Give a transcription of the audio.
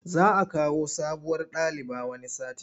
Za a kawo sabuwar daliba wani satin.